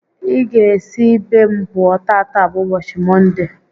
Ị ga esi be m pụọ, tata bụ ụbọchị Mọnde!